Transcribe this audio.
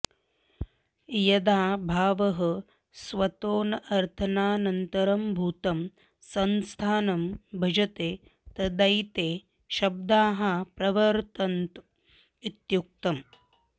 यदा भावः स्वतोऽनर्थान्तरभूतं संस्थानं भजते तदैते शब्दाः प्रवर्तन्त इत्युक्तम्